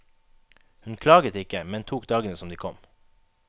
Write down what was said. Hun klaget ikke, men tok dagene som de kom.